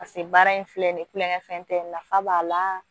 Paseke baara in filɛ nin ye kulonkɛfɛn tɛ nafa b'a la